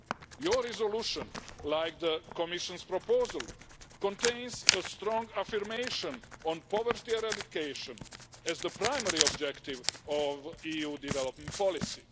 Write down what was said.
Your resolution, like the Commission's proposal, contains a strong affirmation on poverty eradication as the primary objective of EU development policy.